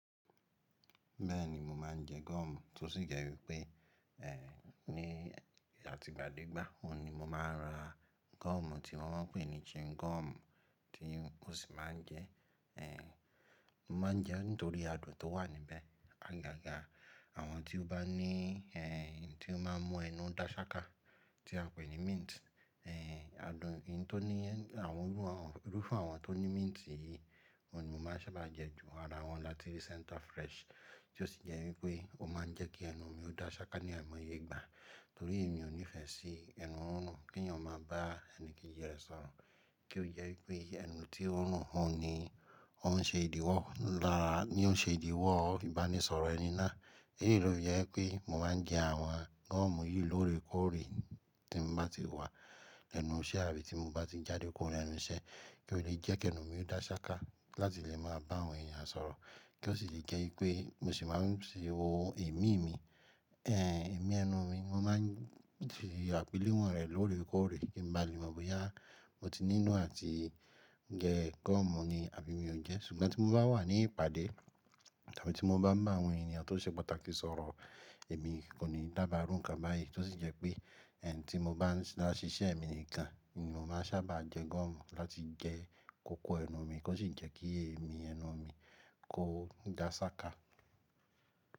Bẹ́ẹ̀ni, mo máa ń jẹ gọ́ọ̀mù tó sì jẹ́ wípé, ní àti'gbàdégbà, òun ni mo máa ń ra gọ́ọ̀mù tí wọ́n ń pè ní chewing gọ́ọ̀mù tí mo sì máa ń jẹẹ́, mo máa ń jẹẹ́ nítorí adùn tó wà níbẹ̀. Àgàgà àwọn tí ó bá ní, tí ó máa ń mú ẹnu dá ṣáká tí à ń pè ní mint, adùn, ohun tí ó ní, àwọn irú, irúfẹ́ àwọn tó ní mint yìí, òun ni mo máa ń sábà jẹ jù, ara wọn lati rí center fresh. Tí ó sì jẹ́ wípé ó máa ń jẹ́ kí ẹnu mi ó dá ṣáká ní àìmọye ìgbà. Torí èyí mi ò nífẹ̀ẹ́ sí ẹnu rírùn kí ènìyàn máa bá ẹnìkejì rẹ̀ sọ̀rọ̀. Kí ó jẹ́ wípé ẹnu tí ó ń rùn ni ó ń ṣe ìdíwọ́, lára ni ó ń ṣe ìdíwọ́ ìbánisọ̀rọ̀ ẹni náà. Èyí ló jẹ́ pé mo máa ń jẹ àwọn gọ́ọ̀mù yìí lóòrèkóòrè tí mo bá ti wà l'ẹ́nu iṣẹ́ àbí tí mo bá ti jáde kúrò l'ẹnu iṣẹ́ kí ó leè jẹ́ kí ẹnu mi ó dá ṣáká láti lè máa bá àwọn ènìyàn sọ̀rọ̀. Kí ó sì le jẹ́ wípé mo sì máa ń ṣe ohun ẹ̀mí mi, ẹ, ẹ̀mí ẹnu mi. Mo máa ń fi ṣe àpèlé wọn rẹ̀ lóòrèkóòrè kí n baà le mọ̀ bóyá mo tí nīlò àti jẹ gọ́ọ̀mù ni àbí mi ò jẹ́. Ṣùgbọ́n tí mo bá wà ní ìpàdé tàbí tí mo bá ń bá àwọn ènìyàn tó ṣe pàtàkì sọ̀rọ̀, èmi kò ní dába rú nǹkan báyìí tí ó sì jẹ́ pé, tí mo bá ń dá ṣiṣẹ́ mi nìkan ni mo máa ń sábà jẹ gọ́ọ̀mù láti jẹ kòkó ẹnu mi kó sì jẹ́ kí ẹ̀mí ẹnu mi kó dá ṣáká.